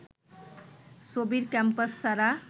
চবি ক্যাম্পাস ছাড়া